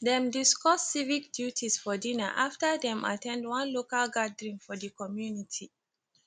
dem discuss civic duties for dinner after dem at ten d one local gathering for di community